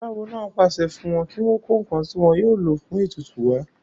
aláwo náà pàṣẹ fún wọn kí wọ́n kó ǹkan tí wọn yóò lò fún ètùtù wá